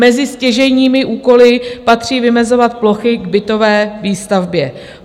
Mezi stěžejní úkoly patří vymezovat plochy k bytové výstavbě.